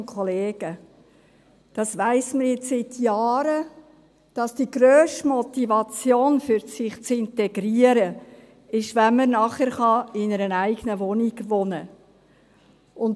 Das weiss man jetzt seit Jahren, dass die grösste Motivation, sich zu integrieren, jene ist, dass man nachher in einer eigenen Wohnung wohnen kann.